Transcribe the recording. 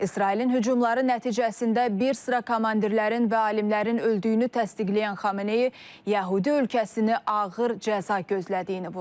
İsrailin hücumları nəticəsində bir sıra komandirlərin və alimlərin öldüyünü təsdiqləyən Xameneyi yəhudi ölkəsini ağır cəza gözlədiyini vurğulayıb.